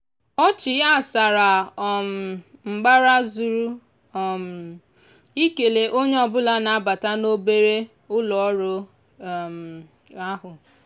ọchị ya sara um mbara zuru um ikele onye ọbụla na-abata n'obere ụlọọrụ um ahụ.